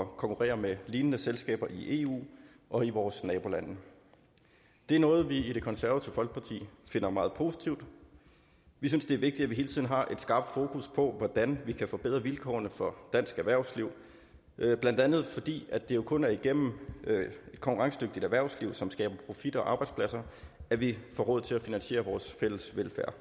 at konkurrere med lignende selskaber i eu og i vores nabolande det er noget vi i det konservative folkeparti finder meget positivt vi synes det er vigtigt at vi hele tiden har et skarpt fokus på hvordan vi kan forbedre vilkårene for dansk erhvervsliv blandt andet fordi det jo kun er igennem et konkurrencedygtigt erhvervsliv som skaber profit og arbejdspladser at vi får råd til at finansiere vores fælles velfærd